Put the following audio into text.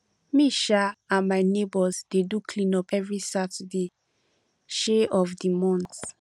me um and my neighbours dey do clean up every last saturday um of the month